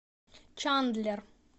чандлер